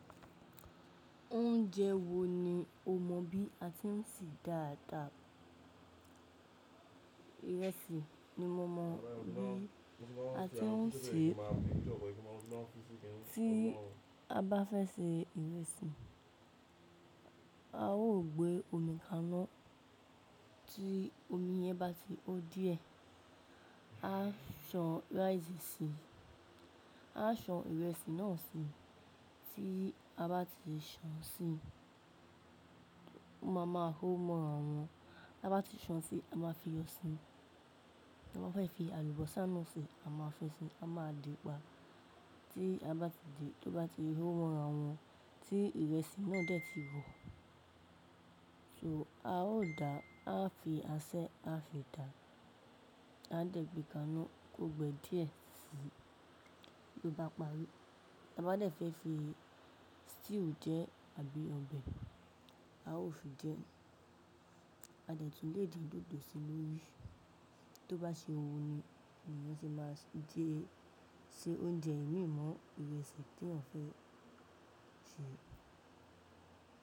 Oúnjẹ wo ni o mọ bí a ti ń ṣe dà dà? Ìrẹsì ni mo mọ bí a ti ń ṣe. Tí a bá fẹ́ ṣe ìrẹsì, a ó gbé omi kaná tí omi yẹn bá ti o díẹ̀, a san rice síi, a san ìrẹsì náà síi, tí a bá ti san síi, mo máa máa hó mọ́ra wọn, ta bá ti san sí a ma fi yọ síi. Mo máa fẹ́ fi àlùbọ́sà náà ṣe, a ma fẹ́ ṣe a ma dì pà tí a bá ti di, tó bá ti hó mọ́ra wọn tí ìrẹsì náà dẹ̀ ti ho. So a ó dà, a fi asẹ́ a fi dà, a dẹ̀ gbé kaná kó gbe díẹ̀ síi tó bá parí. Ta bá dẹ̀ fẹ́ fi stew jẹ àbí ọbẹ̀, a ó fi jẹ. A dẹ̀ tun lè din dòdò sí i lórí, tó bá ṣe wu eeyan ni èèyàn ti máa jẹ́ se oúnjẹ ìmin mo ìrẹsì teyan fẹ́ ṣe.